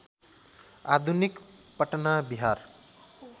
आधुनिक पटना बिहार